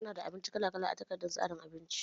Muna da abinci kala kala a takardar tsarin abincin